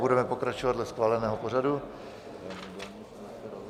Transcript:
Budeme pokračovat dle schváleného pořadu.